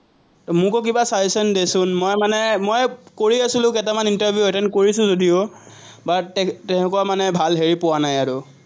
মোকো কিবা suggestion দেচোন মই মানে মই কৰি আছিলো, কেইটামান interview attend কৰিছো যদিও but তে~তেনেকুৱা মানে ভাল হেৰি পোৱা নাই আৰু।